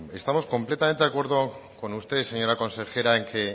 estamos completamente de acuerdo con usted señora consejera en que